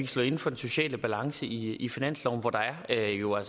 stå inde for den sociale balance i i finansloven hvor der jo er